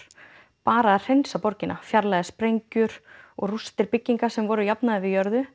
bara að hreinsa borgina fjarlægja sprengjur og rústir bygginga sem voru jafnaðar við jörðu